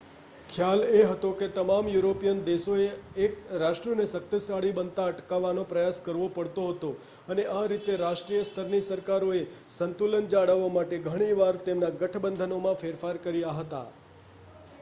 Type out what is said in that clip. ખ્યાલ એ હતો કે તમામ યુરોપિયન દેશોએ એક રાષ્ટ્રને શક્તિશાળી બનતા અટકાવવાનો પ્રયાસ કરવો પડતો હતો અને આ રીતે રાષ્ટ્રીય સ્તરની સરકારોએ સંતુલન જાળવવા માટે ઘણી વાર તેમના ગઠબંધનોમાં ફેરફાર કર્યા હતા